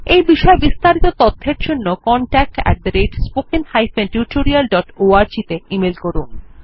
এই বিষয় বিস্তারিত তথ্যের জন্য contactspoken tutorialorg তে ইমেল করুন